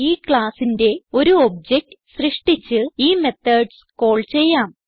ഈ classന്റെ ഒരു ഒബ്ജക്ട് സൃഷ്ടിച്ച് ഈ മെത്തോഡ്സ് കാൾ ചെയ്യാം